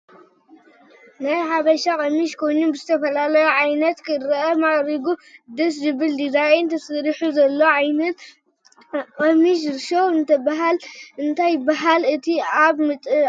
ናይ ሓብሻ፡ ቀሚሽ ኮይኑ ብዝተፍላለይ ዓይንት ክርታት ማዕሪጉ ደስ ዝብል ዲዛይን ተስሪሑ ዘሎ ዓይንት ቅሚስ ሽሙ እንታይ ይብሃል ? እቲ እብ ምዓንጥኣ ዘሎ ክ?